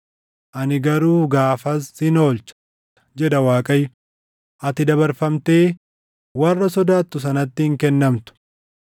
Ani garuu gaafas sin oolcha, jedha Waaqayyo; ati dabarfamtee warra sodaattu sanatti hin kennamtu.